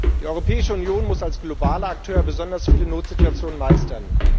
Die Europäische Union muss als globaler Akteur besonders viele Notsituationen meistern.